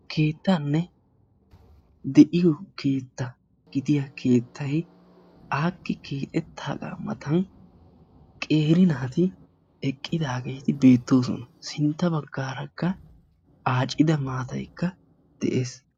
Keettanne de'iyo keettaa gidiya keettay aakki matan qeeri naati eqqidaageeti beettoosona; sintta baggarakka maatay aacidaagee de'ees.